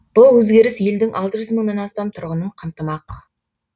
бұл өзгеріс елдің алты жүз мыңнан астам тұрғынын қамтымақ